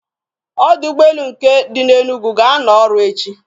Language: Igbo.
Ọdọ ụgbọelu nke dị na Enugu ga-anọ ọrụ echi.